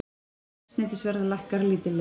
Eldsneytisverð lækkar lítillega